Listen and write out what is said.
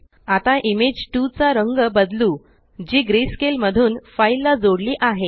आता इमेज 2चा रंग बदलू जी ग्रेस्केल मधून फाइल ला जोडली आहे